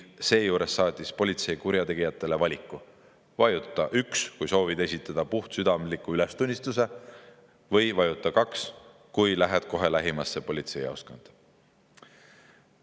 Seejuures saatis politsei kurjategijatele valiku: vajuta 1, kui soovid esitada puhtsüdamliku ülestunnistuse, või vajuta 2, kui lähed kohe lähimasse politseijaoskonda.